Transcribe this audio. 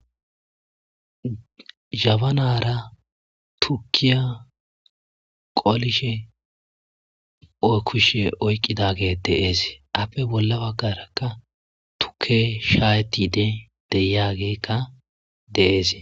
Zhabanara tuukiya qoolishe oykushe oyqqidagey de7es appe bolla baggaraka tuuke shaaytide deiyageykka de7ees.